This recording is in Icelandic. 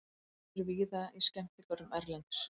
Þau eru víða í skemmtigörðum erlendis.